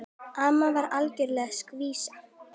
Amma var algjör skvísa.